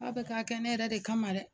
K'a bɛ k'a kɛ ne yɛrɛ de kama dɛ